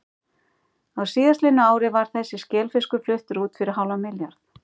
Á síðastliðnu ári var þessi skelfiskur fluttur út fyrir hálfan milljarð.